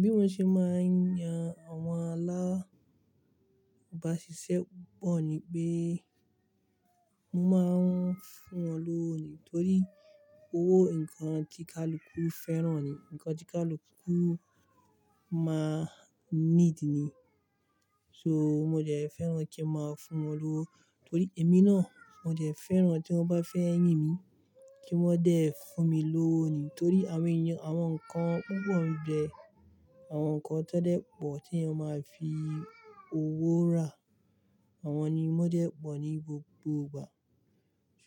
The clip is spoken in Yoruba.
Bí mo ṣe máa ń yan àwọn alábasisẹ́ pọ̀ ní pé, mo máa ń fún wọn lówó nì torí owó nǹkan tí kálukú fẹ́ràn ni, nǹkan tí kálukú máa ń need ni. So mo dẹ̀ fẹ́ràn kí n máa fún wọn lówó torí èmi náà mo dẹ̀ fẹ́ràn tí wọ́n bá fẹ́ yín mi kí wọ́n dé fún mi lówó nì torí àwọn ẹ̀eyan, àwọn nǹkan púpọ̀ n jẹ, àwọn nǹkan tan dẹ́ pọ̀ tí ẹeyan máa fi owó rà, àwọn ni mo dé pọ̀ ní gbogbo ìgbà.